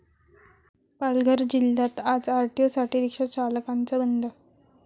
पालघर जिल्ह्यात आज आरटीओसाठी रिक्षाचालकांचा बंद